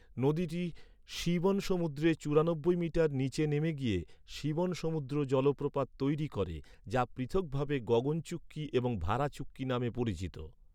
নদীটি শিবনসমুদ্রে চুরানব্বই মিটার নিচে নেমে গিয়ে, শিবনসমুদ্র জলপ্রপাত তৈরি করে, যা পৃথকভাবে গগন চুক্কি এবং ভারা চুক্কি নামে পরিচিত।